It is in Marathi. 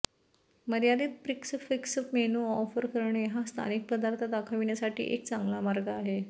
मर्यादित प्रिक्स फिक्स मेनू ऑफर करणे हा स्थानिक पदार्थ दाखविण्यासाठी एक चांगला मार्ग आहे